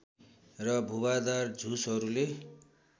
र भुवादार झुसहरूले